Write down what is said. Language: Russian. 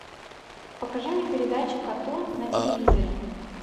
покажи мне передачу катун на телевизоре